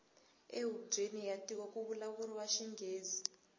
e hubyeni ya tiko kuvulavuriwa xingghezi